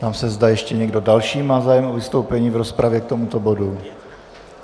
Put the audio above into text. Ptám se, zda ještě někdo další má zájem o vystoupení v rozpravě k tomuto bodu.